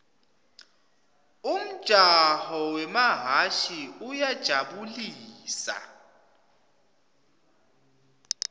umjaho wemahhashi uyajabu lisa